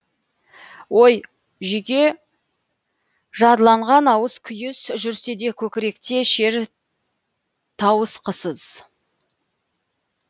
ой жүйке жадыланған ауыс күйіс жүрседе көкіректе шер тауысқысыз